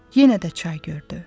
Yenə də çay gördü.